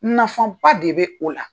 Nafa ba de bɛ o la.